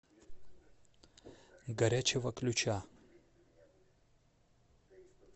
горячего ключа